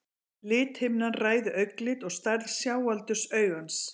Lithimnan ræður augnlit og stærð sjáaldurs augans.